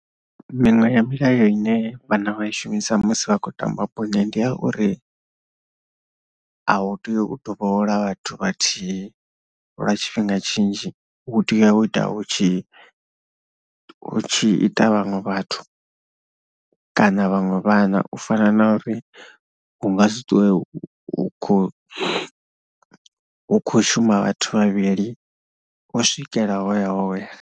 Miṅwe ya milayo ine vhana vha i shumisa musi vha tshi khou tamba bola ndi a uri a hu tei u dovholola vhathu vhathihi lwa tshifhinga tshinzhi, hu tea u ita hu tshi hu tshi ita vhaṅwe vhathu kana vhaṅwe vhana u fana na uri hu nga si ṱwe hu kho, hu kho shuma vhathu vhavhili u swikela hoya hoya.